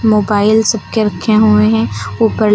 mobile सब के रखे हुए हैं ऊपर--